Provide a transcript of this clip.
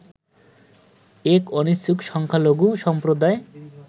এক অনিচ্ছুক সংখ্যালঘু সম্প্রদায়